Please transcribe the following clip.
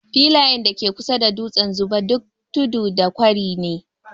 Filayen da ke kusa da dutsen Zuba, duk tudu da kwari ne.